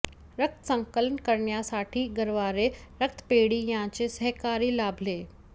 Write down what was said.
रक्त संकलन करण्यासाठी गरवारे रक्तपेढी यांचे सहकार्य लाभले